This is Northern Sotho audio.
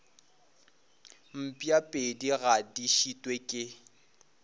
mpšapedi ga di šitwe ke